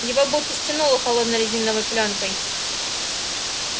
его будто стянуло холодной резиновой плёнкой